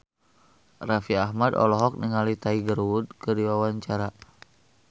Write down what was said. Raffi Ahmad olohok ningali Tiger Wood keur diwawancara